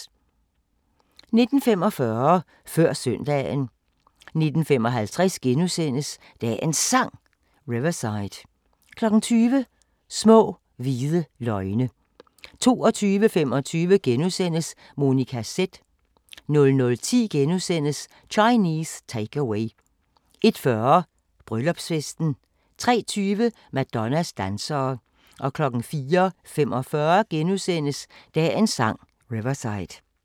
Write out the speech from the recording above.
19:45: Før søndagen 19:55: Dagens Sang: Riverside * 20:00: Små hvide løgne 22:25: Monica Z * 00:10: Chinese Take-Away * 01:40: Bryllupsfesten 03:20: Madonnas dansere 04:45: Dagens Sang: Riverside *